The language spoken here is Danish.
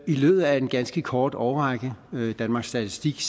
i løbet af en ganske kort årrække danmarks statistik